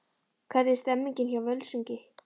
Hvernig er stemningin hjá Völsungi?